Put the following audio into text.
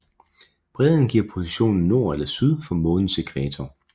Bredden giver positionen nord eller syd for månens ækvator